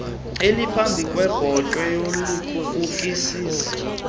eliphambi kwebhotwe walibukisisa